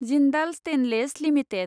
Jindal stainless limited